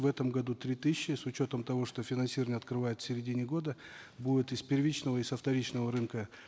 в этом году три тысячи с учетом того что финансирование открывают в середине года будет и с первичного и со вторичного рынка